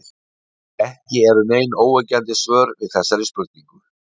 Ekki eru nein óyggjandi svör við þessari spurningu.